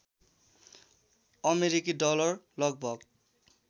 अमेरिकी डलर लगभग